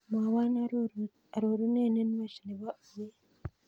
Mwawan arorunet nenwach nebo uet